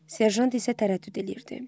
Serjant isə tərəddüd eləyirdi.